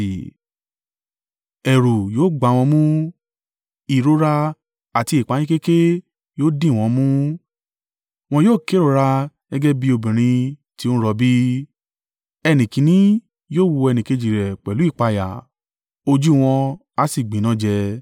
Ẹ̀rù yóò gbá wọn mú, ìrora àti ìpayínkeke yóò dìwọ́n mú, wọn yóò kérora gẹ́gẹ́ bí obìnrin tí ó ń rọbí. Ẹnìkínní yóò wo ẹnìkejì rẹ̀ pẹ̀lú ìpayà ojú wọn á sì gbinájẹ.